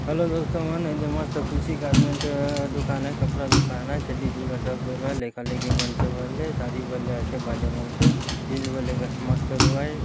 हेलो दोस्तो मन एदे मस्त खुशी गार्मेंट्स एओ हे कपरा दुकान आए चड्डी चूड़ा सब मिलबार लेका लेकी मने सब अल्ले साड़ी बेले आचे भाले मन्सो जीन्स बोले देख मस्त लगुआई --